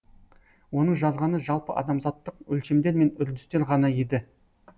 оның жазғаны жалпы адамзаттық өлшемдер мен үрдістер ғана еді